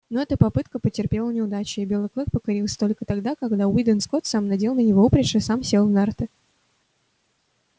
но эта попытка потерпела неудачу и белый клык покорился только тогда когда уидон скотт сам надел на него упряжь и сам сел в нарты